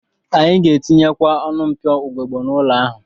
Anyị ga-etinyekwa ọnụ mpio ugegbe n'ụlọ ahụ